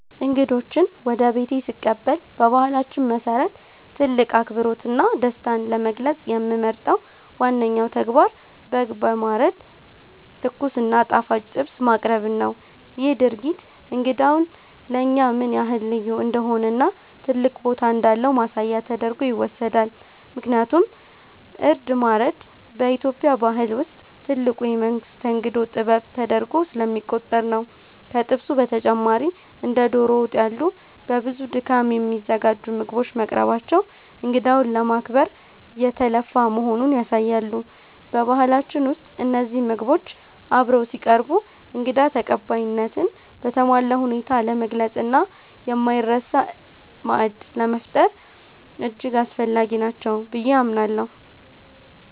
እንግዶችን ወደ ቤቴ ስቀበል በባህላችን መሰረት ትልቅ አክብሮትና ደስታን ለመግለጽ የምመርጠው ዋነኛው ተግባር በግ በማረድ ትኩስ እና ጣፋጭ ጥብስ ማቅረብን ነው። ይህ ድርጊት እንግዳው ለእኛ ምን ያህል ልዩ እንደሆነና ትልቅ ቦታ እንዳለው ማሳያ ተደርጎ ይወሰዳል፤ ምክንያቱም እርድ ማረድ በኢትዮጵያ ባህል ውስጥ ትልቁ የመስተንግዶ ጥበብ ተደርጎ ስለሚቆጠር ነው። ከጥብሱ በተጨማሪ እንደ ዶሮ ወጥ ያሉ በብዙ ድካም የሚዘጋጁ ምግቦች መቅረባቸው እንግዳውን ለማክበር የተለፋ መሆኑን ያሳያሉ። በባህላችን ውስጥ እነዚህ ምግቦች አብረው ሲቀርቡ እንግዳ ተቀባይነትን በተሟላ ሁኔታ ለመግለጽና የማይረሳ ማዕድ ለመፍጠር እጅግ አስፈላጊ ናቸው ብዬ አምናለሁ።